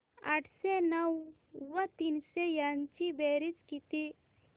आठशे नऊ व तीनशे यांची बेरीज किती